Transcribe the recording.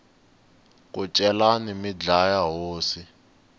ku celani mi dlaya hosi